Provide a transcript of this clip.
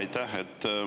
Aitäh!